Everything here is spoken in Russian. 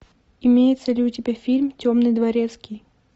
имеется ли у тебя фильм темный дворецкий